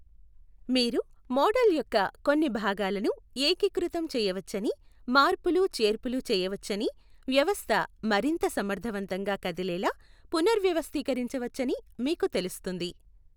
మీరు మోడల్ యొక్క కొన్ని భాగాలను ఏకీకృతం చేయవచ్చని, మార్పులుచేర్పులు చేయవచ్చని, వ్యవస్థ మరింత సమర్థవంతంగా కదిలేలా పునర్వ్యవస్థీకరించవచ్చని మీకు తెలుస్తుంది.